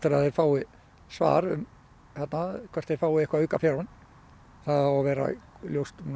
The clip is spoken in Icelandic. að þeir fái svar hvort þeir fái eitthvað aukafjármagn það á að vera ljóst